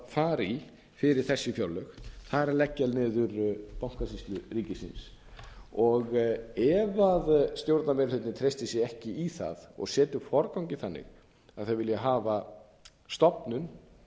fara í fyrir þessi fjárlög það er að leggja niður bankasýslu ríkisins ef stjórnarmeirihlutinn treystir sér ekki í það og setur forganginn þannig að þeir vilji hafa stofnun